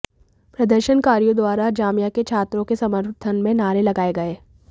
प्रदर्शनकारियों द्वारा जामिया के छात्रों के समर्थन में नारे लगाए गए